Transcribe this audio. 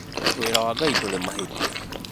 wĩra wa Ngai ndũrĩ mahĩtia